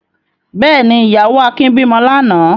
Bẹ́ẹ̀ ni, ìyàwó Akin bímọ lánàá.